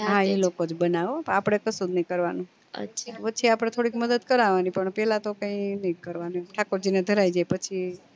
હા ઈ લોકો જ બનાવે હો આપડે કશુજ નહિ કરવાનું વચે આપડે થોડીક મદદ કરવાની પણ પેલા તો કઈ એનેજ કરવાનું ઠાકોર જી ને ધરાયીદે પછી